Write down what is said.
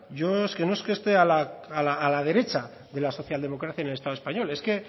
yo es que no es que esté a la derecha de la socialdemocracia en el estado español es que